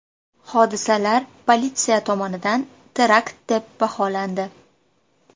Hodisalar politsiya tomonidan terakt deb baholandi .